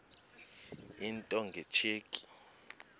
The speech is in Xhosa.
into nge tsheki